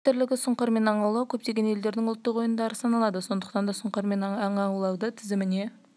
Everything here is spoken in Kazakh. айта кетерлігі сұңқармен аң аулау көптеген елдердің ұлттық ойындары саналады сондықтан да сұңқармен аң аулауды тізіміне